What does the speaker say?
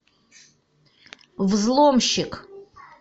взломщик